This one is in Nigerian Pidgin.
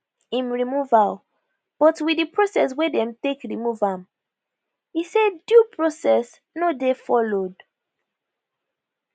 im removal but wit di process wey dem take remove am e say due process no dey followed